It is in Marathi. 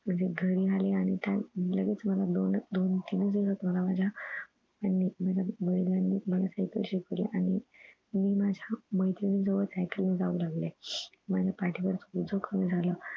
म्हणजे घरी आले आणि त्या लगेच मला दोन तीन दिवसात मला माझ्या ह्यांनी म्हणजे वडिलांनी मला सायकल शिकवली आणि मी माझ्या मैत्रिणी सोबत सायकल घेऊन जाऊ लागले माझ्या पाठीवरच ओझं कमी झाल